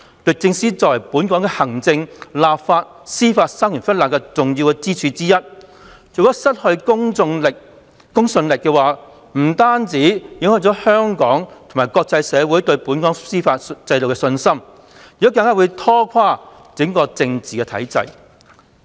律政司作為本港的行政、立法及司法三權分立的重要支柱之一，如果失去公信力，不單影響香港及國際社會對本港司法制度的信心，更會拖垮整個政治體制。